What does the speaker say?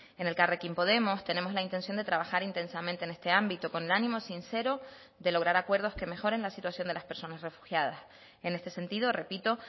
en elkarrekin podemos tenemos la intención de trabajar intensamente en este ámbito con el ánimo sincero de lograr acuerdos que mejoren la situación de las personas refugiadas en este sentido repito